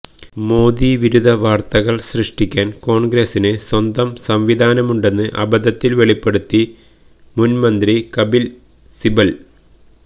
മോദിവിരുദ്ധ വാര്ത്തകള് സൃഷ്ടിക്കാന് കോണ്ഗ്രസ്സിന് സ്വന്തം സംവിധാനം ഉണ്ടെന്ന് അബദ്ധത്തില് വെളിപ്പെടുത്തി മുന്മന്ത്രി കപില് സിബല്